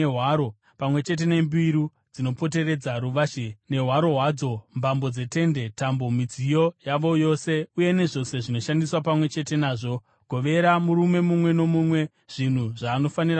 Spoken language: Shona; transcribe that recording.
pamwe chete nembiru dzinopoteredza ruvazhe nehwaro hwadzo, mbambo dzetende, tambo, midziyo yavo yose uye nezvose zvinoshandiswa pamwe chete nazvo. Govera murume mumwe nomumwe zvinhu zvaanofanira kutakura.